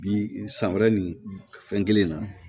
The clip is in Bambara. Bi san wɛrɛ ni fɛn kelen na